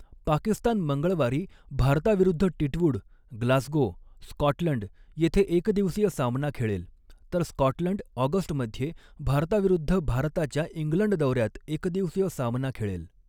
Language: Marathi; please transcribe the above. पाकिस्तान मंगळवारी भारताविरुद्ध टिटवूड, ग्लासगो, स्कॉटलंड येथे एकदिवसीय सामना खेळेल, तर स्कॉटलंड ऑगस्टमध्ये भारताविरुद्ध भारताच्या इंग्लंड दौऱ्यात एकदिवसीय सामना खेळेल.